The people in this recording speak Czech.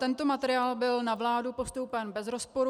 Tento materiál byl na vládu postoupen bez rozporu.